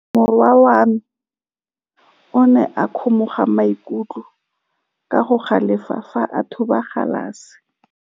Morwa wa me o ne a kgomoga maikutlo ka go galefa fa a thuba galase.